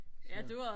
så